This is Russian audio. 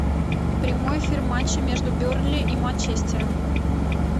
прямой эфир матча между бернли и манчестером